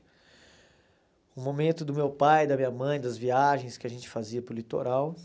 Um momento do meu pai, da minha mãe, das viagens que a gente fazia para o litoral.